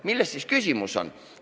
Milles siis küsimus on?